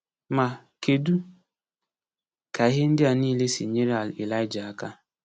Ma, kedu ka ihe ndị a niile si nyere Elija aka?